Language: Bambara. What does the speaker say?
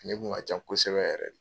Nin kun ka can kosɛbɛ yɛrɛ de.